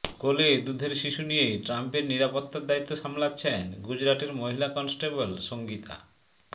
কোলে দুধের শিশু নিয়েই ট্রাম্পের নিরাপত্তার দায়িত্ব সামলাচ্ছেন গুজরাটের মহিলা কনস্টেবল সঙ্গীতা